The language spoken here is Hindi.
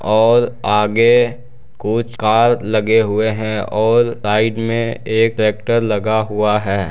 और आगे कुछ कार लगे हुए हैं औल साइड मे एक ट्रैक्टर लगा हुआ है।